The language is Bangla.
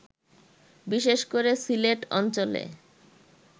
বিশেষ করে সিলেট অঞ্চলে